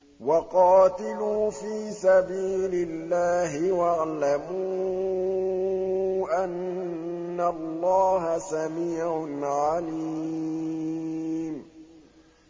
وَقَاتِلُوا فِي سَبِيلِ اللَّهِ وَاعْلَمُوا أَنَّ اللَّهَ سَمِيعٌ عَلِيمٌ